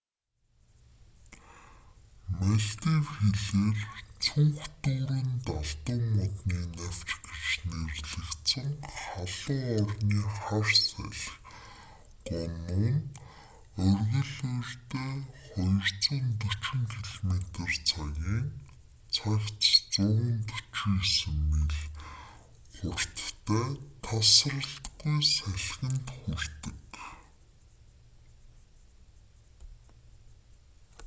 малдив хэлээр цүнх дүүрэн далдуу модны навч гэж нэрлэгдсэн халуун орны хар салхи гону нь оргил үедээ 240 километр цагийн цагт 149 миль хурдтай тасралтгүй салхинд хүрдэг